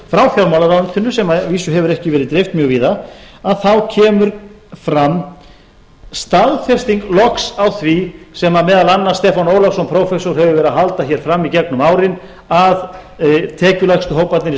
frá fjármálaráðuneytinu sem að vísu hefur ekki verið dreift mjög víða að þá kemur fram staðfesting loks á því sem meðal annars stefán ólafsson prófessor hefur verið að halda hér fram í gegnum árin að tekjulægstu hóparnir í